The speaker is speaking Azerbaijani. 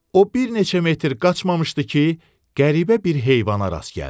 O bir neçə metr qaçmamışdı ki, qəribə bir heyvana rast gəldi.